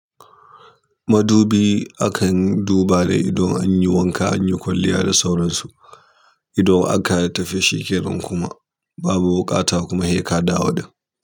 Madubi akan duba da ido an yi wanka an yi kwalliya da sauransu. Idan aka tafi sheƙeran kuma babu wukata kuma heka da wudin.